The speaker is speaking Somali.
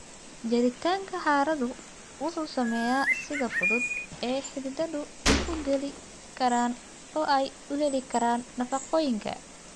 Jiritaanka carradu wuxuu saameeyaa sida fudud ee xididadu u geli karaan oo ay u heli karaan nafaqooyinka.